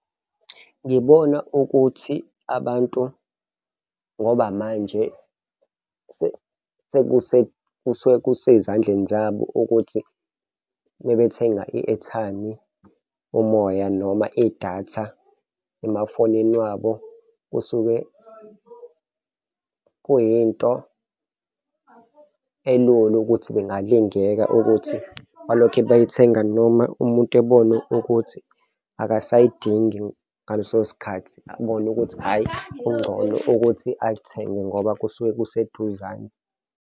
Ngibona ukuthi abantu ngoba manje kusuke kusezandleni zabo ukuthi mabethenga i-airtime, umoya noma idatha emafonini wabo, kusuke kuyinto elula ukuthi bengalingeka ukuthi balokhe beyithenga noma umuntu ebone ukuthi akasayidingi ngaleso sikhathi abona ukuthi, hhayi, kungcono ukuthi alithenge ngoba kusuke kuseduzane.